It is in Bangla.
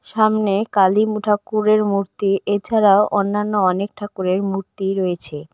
সামনে কালী মু ঠাকুরের মূর্তি এছাড়াও অন্যান্য অনেক ঠাকুরের মূর্তি রয়েছে।